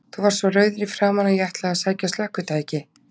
Þú varst svo rauður í framan að ég ætlaði að sækja slökkvitæki.